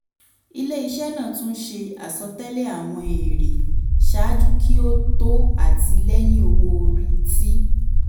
ilé-iṣẹ́ náà tún ṣe asọ̀tẹ́lẹ̀ àwọn èrè ṣáájú kí ó tó àtìlẹ́hìn owó-orí tí